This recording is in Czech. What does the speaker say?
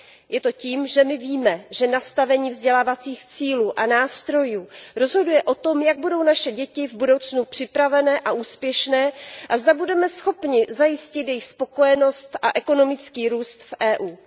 Je to tím, že my víme, že nastavení vzdělávacích cílů a nástrojů rozhoduje o tom, jak budou naše děti v budoucnu připravené a úspěšné a zda budeme schopni zajistit jejich spokojenost a ekonomický růst v EU.